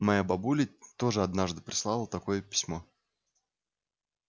моя бабуля тоже однажды прислала такое письмо